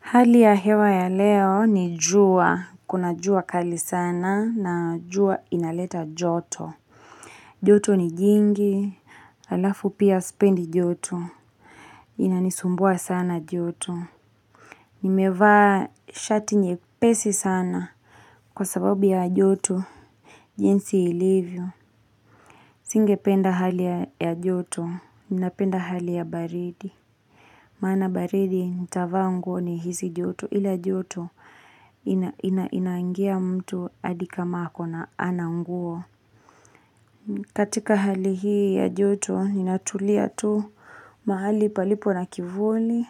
Hali ya hewa ya leo ni jua, kuna jua kali sana, na jua inaleta joto. Joto ni jingi, alafu pia sipendi joto. Inanisumbua sana joto. Nimevaa shati nyepesi sana. Kwa sababu ya joto, jinsi ilivyo, singependa hali ya joto, ninapenda hali ya baridi. Maana baridi nitavaa nguo ni hisi joto ila joto inaangia mtu adi kama ako na ana nguo. Katika hali hii ya joto ninatulia tu mahali palipo na kivuli.